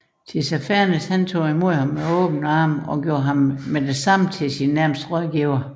Tissafernes modtog ham med åbne arme og gjorde ham straks til sin nærmeste rådgiver